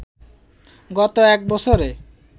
গত এক বছরে